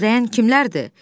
Gözləyən kimlərdir?